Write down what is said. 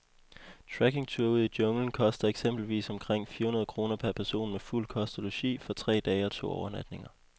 Trekkingture ud i junglen koster eksempelvis omkring fire hundrede kroner per person med fuld kost og logi for tre dage og to overnatninger.